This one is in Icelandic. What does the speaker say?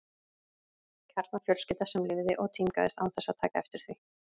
Kjarnafjölskylda sem lifði og tímgaðist án þess að taka eftir því.